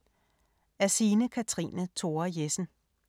Af Signe Kathrine Thora Jessen